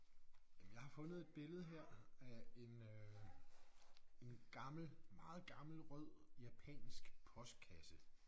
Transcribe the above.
Jamen jeg har fundet et billede her af en øh en gammel meget gammel rød japansk postkasse